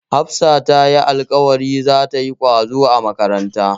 Hafsa tayi alƙawarin zata yi ƙwazo a makaranta.